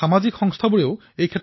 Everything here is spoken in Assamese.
ই কেৱল কথিত ৰূপতেই প্ৰচলিত